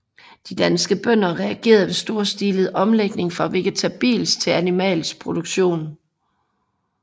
De danske bønder reagerede ved storstilet omlægning fra vegetabilsk til animalsk produktion